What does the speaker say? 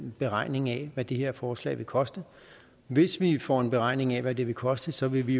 beregning af hvad det her forslag vil koste hvis vi får en beregning af hvad det vil koste så vil vi